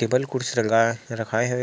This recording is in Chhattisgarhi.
टेबल कुर्सी लगाय रखाये हवे --